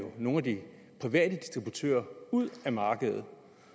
nogle af de private distributører ud af markedet